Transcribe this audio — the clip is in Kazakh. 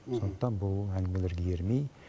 сондықтан бұл әңгімелерге ермей